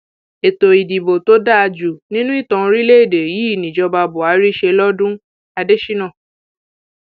ètò ìdìbò tó dáa jù nínú ìtàn orílẹèdè yìí níjọba buhari ṣe lọdún adésínà